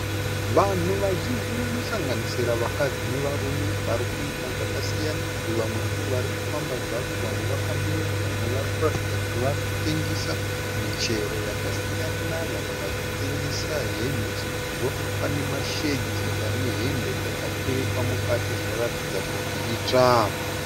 Vanhu vazhinji vanosanganisira vakadzi nevarume varikuita zvakasiyana. Vamwe ndovarikufamba zvavo vamwe vakamira vamwe varikuratidza kuti varikutengesa michero yakasiyana. Vamwe vachitengesa hembe sezvo pane mashedhi ane hembe dzakaturikwa mukati dzinoratidza kuti itsva.